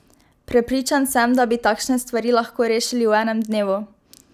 Prepričan sem, da bi takšne stvari lahko rešili v enem dnevu!